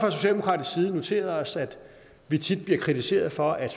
noteret os at vi tit bliver kritiseret for at